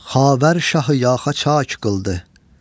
Xavər şahı laç qıldı.